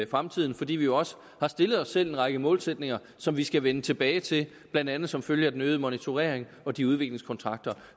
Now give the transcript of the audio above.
fremtiden fordi vi jo også har stillet os selv en række målsætninger som vi skal vende tilbage til blandt andet som følge af den øgede monitorering og de udviklingskontrakter